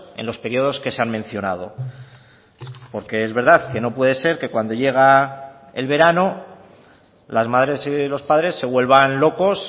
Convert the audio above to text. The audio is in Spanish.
en los periodos que se han mencionado porque es verdad que no puede ser que cuando llega el verano las madres y los padres se vuelvan locos